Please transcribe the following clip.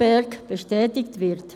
BerG bestätigt wird.